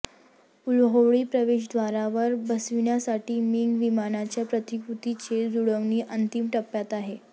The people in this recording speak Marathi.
विल्होळी प्रवेशद्वारावर बसविण्यासाठी मिग विमानांच्या प्रतिकृतीची जुळवणी अंतिम टप्प्यात आहे